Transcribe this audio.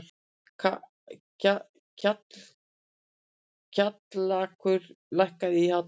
Kjallakur, lækkaðu í hátalaranum.